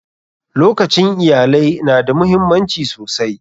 Lokacin iyalai na da muhimmanci sosai.